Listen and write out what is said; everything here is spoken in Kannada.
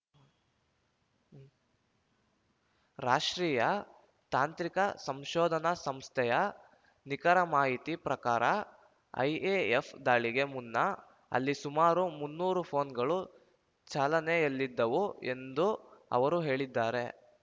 ರಾಷ್ಟ್ರೀಯ ತಾಂತ್ರಿಕ ಸಂಶೋಧನಾ ಸಂಸ್ಥೆಯ ನಿಖರ ಮಾಹಿತಿ ಪ್ರಕಾರ ಐಎಎಫ್ ದಾಳಿಗೆ ಮುನ್ನ ಅಲ್ಲಿ ಸುಮಾರು ಮುನ್ನೂರು ಫೋನ್ ಗಳು ಚಾಲನೆಯಲ್ಲಿದ್ದವು ಎಂದೂ ಅವರು ಹೇಳಿದ್ದಾರೆ